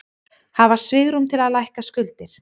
Hafa svigrúm til að lækka skuldir